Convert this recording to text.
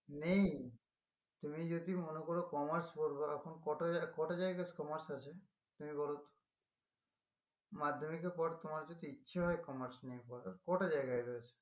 নেই তুমি যদি মনে করো commerce পড়বা এখন কটা জায় কটা জায়গায় commerce তুমি বলো তো মাধ্যমিকের পর তোমার যদি ইচ্ছে হয় commerce নিয়ে পড়ার কটা জায়গায় রয়েছে?